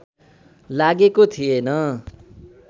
लागेको थिएन